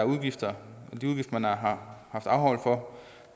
udgifter man har afholdt for